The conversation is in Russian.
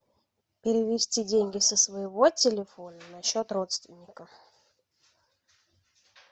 перевести деньги со своего телефона на счет родственника